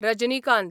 Rajinikanth